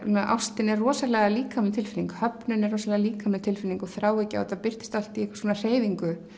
ástin er rosalega líkamleg tilfinning höfnun er rosalega líkamleg tilfinning og þráhyggja og þetta birtist allt í einhvers konar hreyfingu